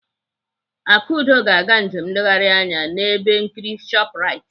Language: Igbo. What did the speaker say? Akudo ga-aga njem nleghari anya n'ebe nkiri Shoprite.